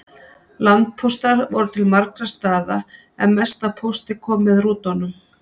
Landpóstar voru til margra staða en mest af pósti kom með rútunum.